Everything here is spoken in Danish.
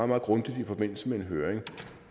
meget grundigt i forbindelse med en høring